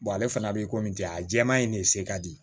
ale fana bɛ komi jɛn a jɛman in ne se ka di